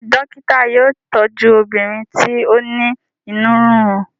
ṣe dókítà yóò tọju obìnrin ti o ní inú rirun?